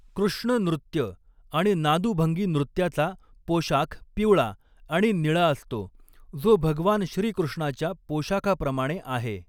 कृष्ण नृत्य आणि नादुभंगी नृत्याचा पोशाख पिवळा आणि निळा असतो, जो भगवान श्रीकृष्णाच्या पोशाखाप्रमाणे आहे.